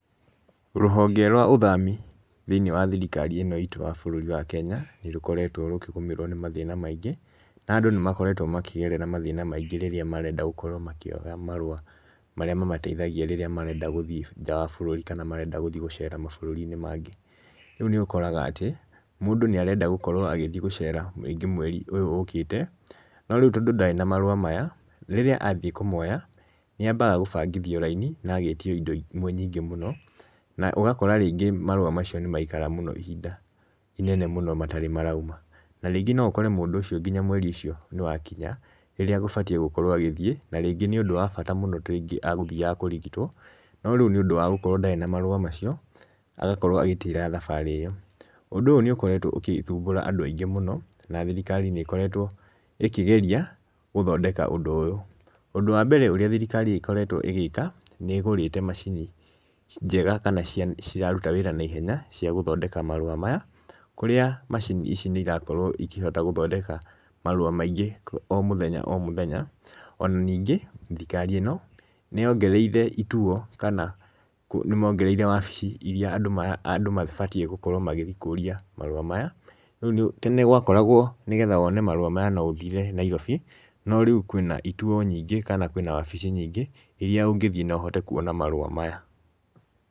Rũhonge rwa ũthami thĩ-inĩ wa thirikari ĩno itũ ya bũrũri wa Kenya nĩrũkoretwo rũkĩgũmĩrwo nĩ mathĩna maingĩ. Na andũ nĩmakoretwo makĩgerera mathĩna maingĩ rĩrĩa marenda gũkorwo makĩoya marũa marĩa mamateithagia rĩrĩa marenda gũthiĩ nja wa bũrũri kana marenda gũthiĩ gũcera mabũrũri-inĩ mangĩ. Rĩu nĩũkoraga atĩ mũndũ nĩ arenda gũkorwo agĩthiĩ gũcera rĩngĩ mweri ũyũ ũkĩte, no rĩu tondũ ndarĩ na marũa maya, rĩrĩa athiĩ kũmoya nĩ ambaga gũbangithii raini na agetio indo imwe nyingĩ mũno. Na ũgakora rĩngĩ marũa macio nĩmaikara mũno ihinda inene mũno matarĩ marauma. Na rĩngĩ no ukore mũndũ ũcio nginya mweri ũcio nĩwakinya rĩrĩa agũbatiĩ gũkorwo agĩthiĩ, na rĩngĩ nĩ ũndũ wa bata mũno ta rĩngĩ agũthiaga kũrigitwo, no rĩu nĩ ũndũ wa gũkorwo ndarĩ na marũa macio agakorwo agĩtĩra thabarĩ ĩyo. Ũndũ ũyũ nĩũkoretwo ũgĩthumbũra andũ aingĩ mũno, na thirikari nĩ ĩkoretwo ĩkĩgeria gũthondeka ũndũ ũyũ. Ũndũ wa mbere ũrĩa thirikari ĩkoretwo ĩgĩka nĩ ĩgũrĩte macini njega kana ciraruta wĩra na ihenya cia gũthondeka marũa maya, kũrĩa macini ici nĩirakorwo ikĩhota gũthondeka marũa maingĩ o mũthenya o mũthenya. Ona ningĩ thirikari ĩno nĩyongereire ituo kana nĩmongereire wabici iria andũ mabatiĩ gũkorwo magĩthiĩ kũũria marũa maya. Tene gwakoragwo nĩ getha wone marũa maya no ũthire Nairobi, no rĩu kwĩna ituo nyingĩ kana kwĩna wabici nyingĩ iria ũngĩthiĩ na ũhote kwona marũa maya.